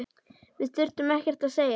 Við þurftum ekkert að segja.